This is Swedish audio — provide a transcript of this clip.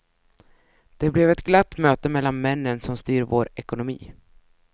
Det blev ett glatt möte mellan männen som styr vår ekonomi.